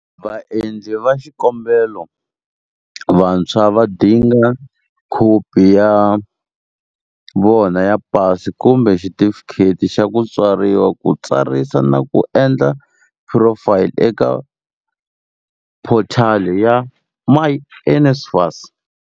Vaendli va xikombelo vantshwa va dinga khopi ya vona ya PASI kumbe xitifikheti xa ku tswariwa ku tsarisa na ku endla phurofayili eka phothali ya myNSFAS.